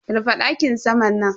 Rufe dakin saman nan.